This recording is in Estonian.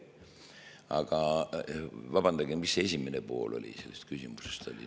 Aga vabandage, mis selle küsimuse esimene pool oli?